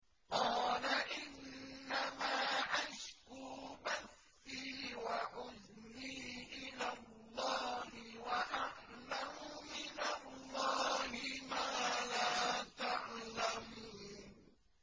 قَالَ إِنَّمَا أَشْكُو بَثِّي وَحُزْنِي إِلَى اللَّهِ وَأَعْلَمُ مِنَ اللَّهِ مَا لَا تَعْلَمُونَ